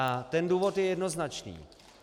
A ten důvod je jednoznačný.